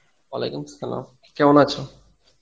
Arbi কেমন আছো?